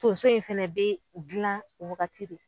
Donso in fɛnɛ bɛ dilan o waagati de.